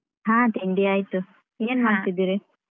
ಹಾ ತಿಂಡಿ ಆಯ್ತು. ಏನ್ ಮಾಡ್ತಿದ್ದೀರಿ?